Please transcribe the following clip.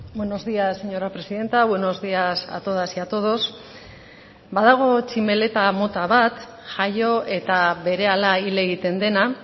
buenos días señora presidenta buenos días a todas y a todos badago tximeleta mota bat jaio eta berehala hil egiten dena